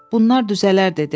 "Bunlar düzələr" dedi.